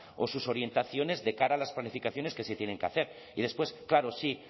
o sus orientaciones de cara a las planificaciones que se tienen que hacer y después claro sí